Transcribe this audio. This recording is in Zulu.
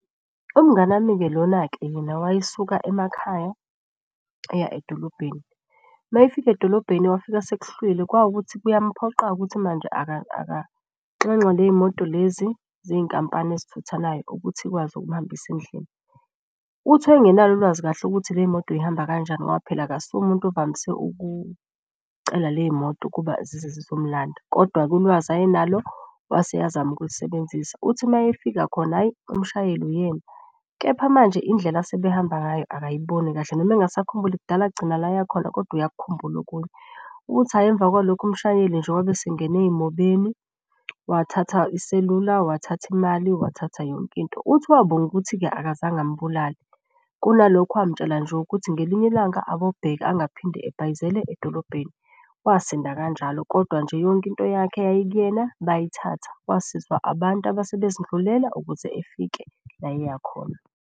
Umngani wami-ke lona-ke yena wayesuka emakhaya eya edolobheni. Mayefika edolobheni wafika sekuhlwile, kwawukuthi kuyamuphoqa-ke ukuthi manje akanxenxe ley'moto lezi zey'nkampani ezithuthanayo ukuthi ikwazi ukumuhambisa endlini. Uthi wayengenalo ulwazi kahle ukuthi ley'moto zihamba kanjani ngoba phela akasuye umuntu ovamise ukucela ley'moto ukuba zize zizomulanda. Kodwa-ke ulwazi ayenalo, wase eyazama ukulusebenzisa. Uthi mayefika khona hhayi umshayeli uyena, kepha manje indlela asebehamba ngayo akayiboni kahle, noma engasakhumbuli kudala agcina la ayakhona kodwa uyakukhumbula okunye. Uthi, hhayi, emva kwalokho umshayeli nje wabe esingena ey'mobeni, wathatha iselula, wathatha imali, wathatha yonke into. Uthi wabonga ukuthi-ke akazange amubulale. Kunalokho wamutshela nje ukuthi ngelinye ilanga akobheka angaphinde abhayizele edolobheni. Wasinda kanjalo, kodwa nje yonke into yakhe eyayikuyena bayithatha. Wasizwa abantu abase bezidlulela ukuze efike la eyakhona.